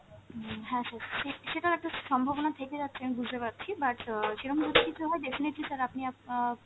উম হ্যাঁ sir সে~ সেটার একটা সম্ভবনা থেকে যাচ্ছে আমি বুঝতে পারছি, but অ সেরম যদি কিছু হয় definitely sir আপনি আপ আ